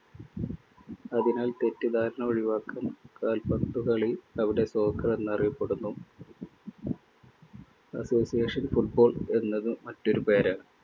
അതിനാൽ തെറ്റിദ്ധാരണ ഒഴിവാക്കാൻ കാൽപന്തുകളി അവിടെ soccer എന്നറിയപ്പെടുന്നു. association football എന്നത് മറ്റൊരു പേരാ.